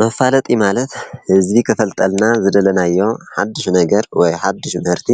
መፋለጢ ማለት ንህዝቢ ክፋልጠልና ዝደለናዮ ሓዱሽ ነገር ወይ ሓዱሽ ደርፊ